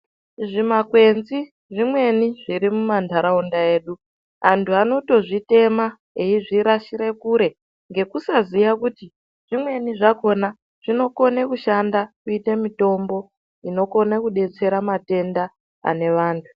Zvimakwenzi zvimweni zvirimumandaraunda edu ,antu vanotozvitema eyizvirasire Kure ngekusaziva kuti zvimweni zvakona zvinokone kushanda kuite mitombo inokonekudetsera matenda anevanhu.